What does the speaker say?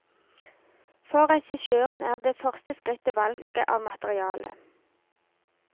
For regissøren er det første skrittet valget av materiale.